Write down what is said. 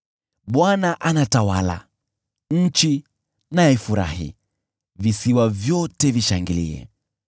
Bwana anatawala, nchi na ifurahi, visiwa vyote vishangilie.